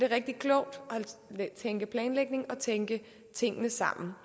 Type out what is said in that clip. rigtig klogt at tænke planlægning og at tænke tingene sammen